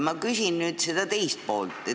Ma küsin nüüd teise pool kohta.